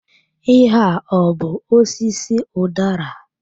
Ihe a ọ bụ osisi udara?